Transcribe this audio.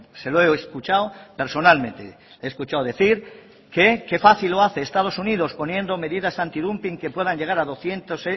se lo he escuchado personalmente he escuchado decir qué fácil lo hace estados unidos poniendo medidas antidumping que puedan llegar a doscientos